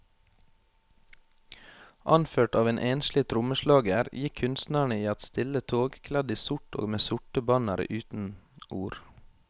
Anført av en enslig trommeslager gikk kunstnerne i et stille tog, kledd i sort og med sorte bannere uten ord.